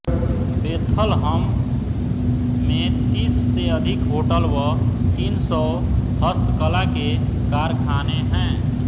Bethlehem में तीस से अधिक होटल व तीन सौ हस्तकला के कारखाने हैं